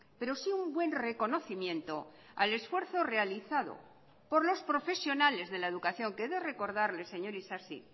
pero sí un buen reconocimiento al esfuerzo realizado por los profesionales de la educación que he de recordarle señor isasi